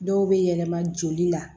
Dɔw bɛ yɛlɛma joli la